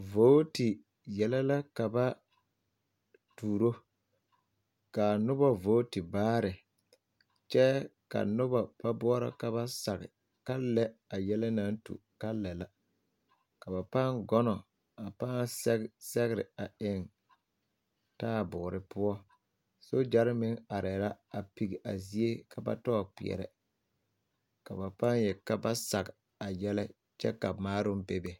Vooti yɛlɛ la ka ba tuuro ka a noba vooti baare kyɛ ka noba ba boɔrɔ ka ba sage ka lɛ a yɛlɛ naŋ tu ka lɛ la ka ba pãã kono a pãã sɛge sɛgre a eŋ taaboore poɔ sogyare meŋ arɛɛ la a pigi a zie ka ba tɔɔ kpeɛrɛ ka ba pãã yeli ka zage kyɛ ka maaroo bebe.